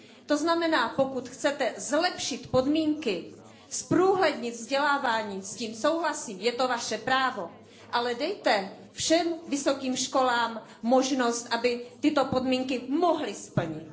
To znamená, že pokud chcete zlepšit podmínky, zprůhlednit vzdělávání, s tím souhlasím, je to vaše právo, ale dejte všem vysokým školám možnost, aby tyto podmínky mohly splnit.